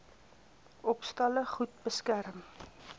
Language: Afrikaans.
opstalle goed beskerm